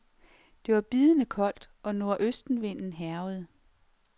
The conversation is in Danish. Det var bidende koldt og nordøstenvinden hærgede.